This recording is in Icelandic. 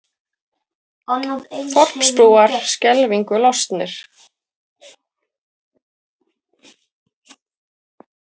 Þorpsbúar skelfingu lostnir